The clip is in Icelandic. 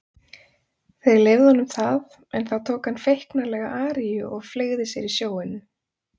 Þeir leyfðu honum það en þá tók hann feiknarlega aríu og fleygði sér í sjóinn.